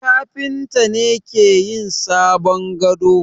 Kafinta ne ke yin sabon gado.